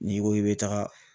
N'i ko i be taga